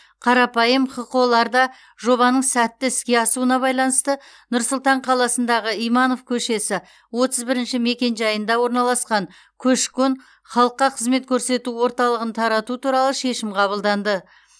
қарапайым хқо ларда жобаның сәтті іске асуына байланысты нұр сұлтан қаласындағы иманов көшесі отыз бірінші мекенжайында орналасқан көші қон халыққа қызмет көрсету орталығын тарату туралы шешім қабылданды